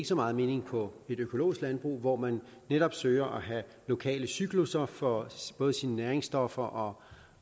så meget mening på et økologisk landbrug hvor man netop søger at have lokale cyklusser for både sine næringsstoffer